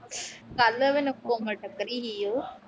ਕੱਲ੍ਹ ਨਾ ਮੈਨੂੰ ਕੋਮਲ ਟਕਰੀ ਸੀ ਉਹ।